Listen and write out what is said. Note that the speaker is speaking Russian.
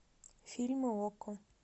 фильмы окко